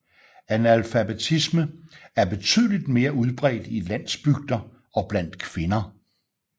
Analfabetisme er betydeligt mere udbredt i landsbygder og blandt kvinder